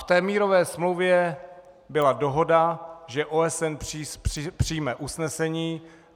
V této mírové smlouvě byla dohoda, že OSN přijme usnesení.